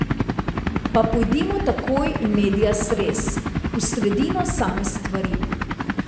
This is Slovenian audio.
Pa pojdimo takoj in medias res, v sredino same stvari.